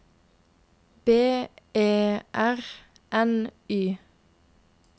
B E R N Y